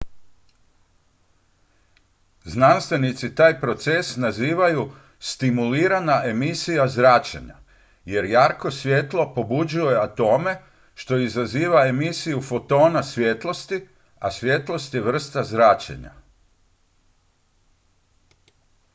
"znanstvenici taj proces nazivaju "stimulirana emisija zračenja" jer jarko svjetlo pobuđuje atome što izaziva emisiju fotona svjetlosti a svjetlost je vrsta zračenja.